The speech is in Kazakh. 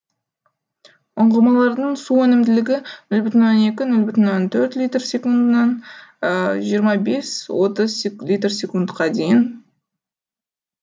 ұңғымалардың су өнімділігі нөл бүтін оннан екі нөл бүтін оннан төрт литр секундынан жиырма бес отыз литр секундқа дейін